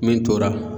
Min tora